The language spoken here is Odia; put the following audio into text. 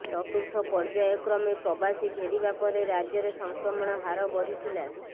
ଚତୁର୍ଥ ପର୍ଯ୍ୟାୟକ୍ରମେ ପ୍ରବାସୀ ଫେରିବା ପରେ ରାଜ୍ୟରେ ସଂକ୍ରମଣ ହାର ବଢ଼ିଥିଲା